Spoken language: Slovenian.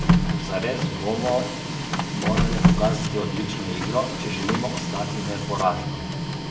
Zares bomo morale pokazati odlično igro, če želimo ostati neporažene.